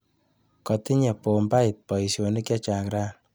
Katinye bombait baishonik chechang rani.